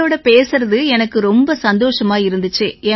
உங்களோட பேசுறது எனக்கும் ரொம்ப சந்தோஷமா இருந்திச்சு